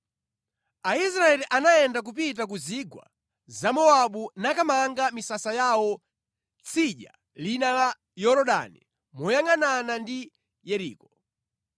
Aisraeli anayenda kupita ku zigwa za Mowabu nakamanga misasa yawo tsidya lina la Yorodani moyangʼanana ndi Yeriko.